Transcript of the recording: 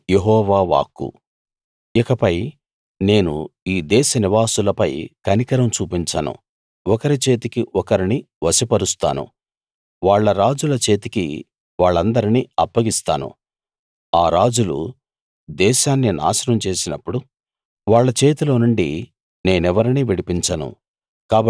ఇదే యెహోవా వాక్కు ఇకపై నేను ఈ దేశనివాసులపై కనికరం చూపించను ఒకరి చేతికి ఒకరిని వశపరుస్తాను వాళ్ళ రాజుల చేతికి వాళ్ళందరినీ అప్పగిస్తాను ఆ రాజులు దేశాన్ని నాశనం చేసినప్పుడు వాళ్ళ చేతిలోనుండి నేనెవరినీ విడిపించను